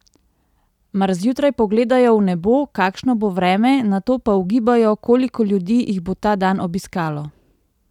Mar zjutraj pogledajo v nebo, kakšno bo vreme, nato pa ugibajo, koliko ljudi jih bo ta dan obiskalo?